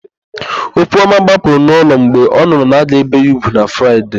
Okwuọma gbapụrụ n'ụlọ mgbe ọ nụrụ na a ga-ébè ya úgwù na Fraịde.